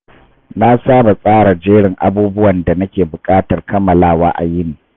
Na saba tsara jerin abubuwan da nake buƙatar kammalawa a yini.